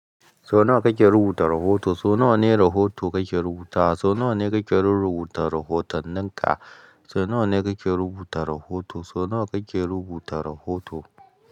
So nawa kake rubuta rahoto? So nawa ne rahoto kake rubuta? So nawa ne kake rurrubuta rahoton ninka? So nawa ne kake rubuta rahoto? So nawa kake rubuta rahoto?